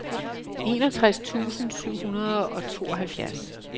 enogtres tusind syv hundrede og tooghalvtreds